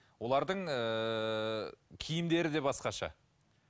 олардың ыыы киімдері де басқаша